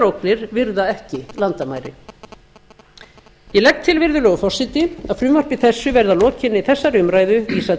ógnir virða ekki landamæri ég legg til virðulegur forseti að frumvarpi þessu verði að lokinni þessari umræðu vísað